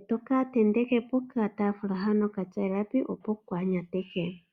Ohaka tentekwa pokataafula hono ka tya elapi, opo kaa ka nyateke.